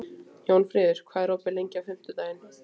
Jónfríður, hvað er opið lengi á fimmtudaginn?